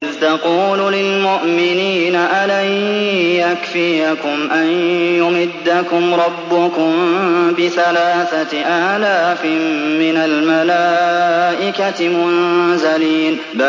إِذْ تَقُولُ لِلْمُؤْمِنِينَ أَلَن يَكْفِيَكُمْ أَن يُمِدَّكُمْ رَبُّكُم بِثَلَاثَةِ آلَافٍ مِّنَ الْمَلَائِكَةِ مُنزَلِينَ